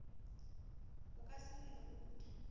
o ka se le rute